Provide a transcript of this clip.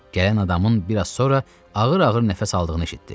Gələn adamın bir az sonra ağır-ağır nəfəs aldığını eşitdi.